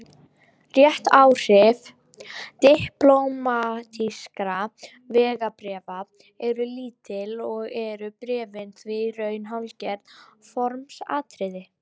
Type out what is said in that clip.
Réttaráhrif diplómatískra vegabréfa eru lítil og eru bréfin því í raun hálfgert formsatriði.